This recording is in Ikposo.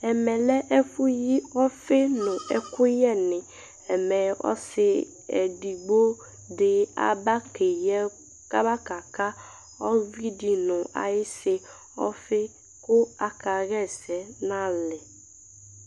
Ɛmɛ lɛ ɛku yi ɔfɩ nu ɛku yɛ nɩ Ɛmɛ ɔsɩ eɖɩgbo ɖɩ aba keyɩ ɛk aba kaka uvɩdɖɩ ɔfɩ ku aka ɣa ɛsɛ nalɛ